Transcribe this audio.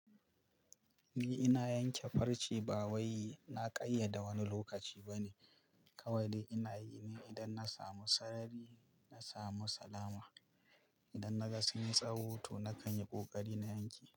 Ni ina yanke farce ba wai na ƙayyade wani lokaci ba ne. Kawai ina yi ne idan na samu sarari, na samu salama. Idan na ga sun tsawo to, na kan yi ƙoƙari na yanke.